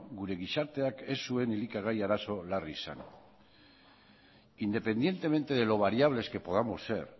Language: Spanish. gure gizarteak ez zuen elikagai arazo larri izan independientemente de lo variables que podamos ser